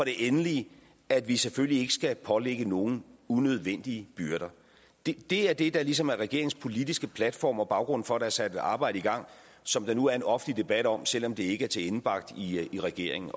endelig at vi selvfølgelig ikke skal pålægge nogen unødvendige byrder det er det der ligesom er regeringens politiske platform og baggrunden for at der er sat et arbejde i gang som der nu er en offentlig debat om selv om det ikke er tilendebragt i regeringen